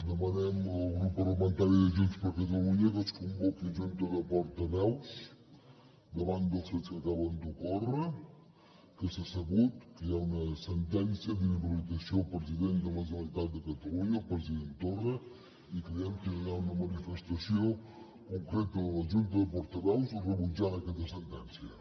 demanem el grup parlamentari de junts per catalunya que es convoqui junta de portaveus davant dels fets que acaben d’ocórrer que s’ha sabut que hi ha una sentència d’inhabilitació al president de la generalitat de catalunya el president torra i creiem que hi ha d’haver una manifestació concreta de la junta de portaveus rebutjant aquesta sentència